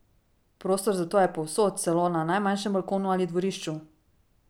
Prostor za to je povsod, celo na najmanjšem balkonu ali dvorišču!